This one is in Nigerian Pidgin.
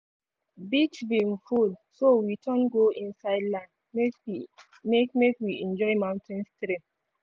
beach bin full so we turn go inside land make we make make we enjoy mountain stream.